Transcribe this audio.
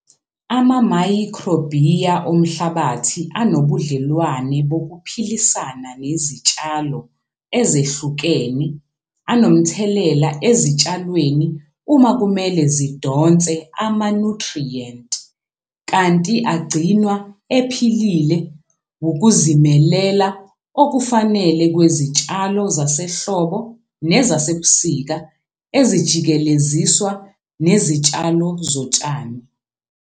Amamayikhrobiya omhlabathi anobudlelwane bokuphilisana nezitshalo ezihlukene anomthelela ezitshalweni uma kumele zidonse amanuthriyenti, kanti agcinwa ephilile wukuzimelela okufanele kwezitshalo zasehlobo nezasebusika ezijikeleziswa nezitshalo zotshani.